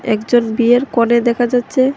একজন বিয়ের কনে দেখা যাচ্চে।